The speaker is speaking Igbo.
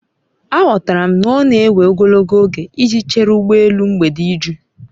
Aghọtara m na ọ na-ewe ogologo oge iji chere ụgbọ elu mgbede iju